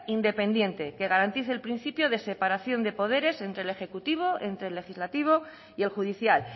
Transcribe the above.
independiente que garantice el principio de separación de poderes entre el ejecutivo entre el legislativo y el judicial